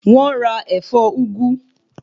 Wọ́n ra ẹ̀fọ́ úgú